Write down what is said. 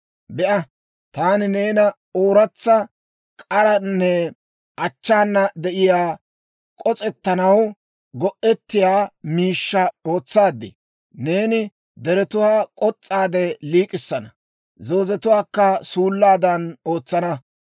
Be'a, taani neena ooratsa, k'aranne achchaana de'iyaa, k'os's'anaw go'ettiyaa miishshaa ootsaad. Neeni deretuwaa k'os's'aade liik'issana; zoozetuwaakka suullaadan ootsana.